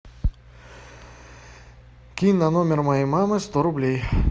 кинь на номер моей мамы сто рублей